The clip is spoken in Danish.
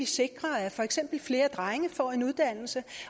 sikre at for eksempel flere drenge får en uddannelse